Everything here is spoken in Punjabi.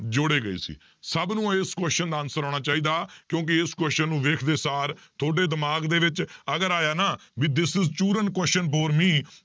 ਜੋੜੇ ਗਏ ਸੀ, ਸਭ ਨੂੰ ਇਸ question ਦਾ answer ਆਉਣਾ ਚਾਹੀਦਾ ਕਿਉਂਕਿ ਇਸ question ਨੂੰ ਵੇਖਦੇ ਸਾਰ ਤੁਹਾਡੇ ਦਿਮਾਗ ਦੇ ਵਿੱਚ ਅਗਰ ਆਇਆ ਨਾ ਵੀ this question bore me